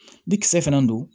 Ni kisɛ fana don